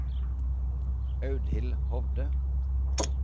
Audhild Hovde